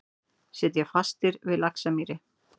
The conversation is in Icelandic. Sitja fastir við Laxamýri